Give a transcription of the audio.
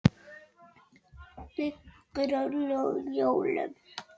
Hjördís leit á Birki.